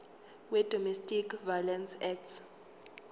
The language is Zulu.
wedomestic violence act